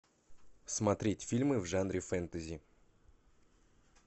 смотреть фильмы в жанре фэнтези